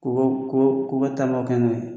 Ko ko koba taabaa kɛ n'o ye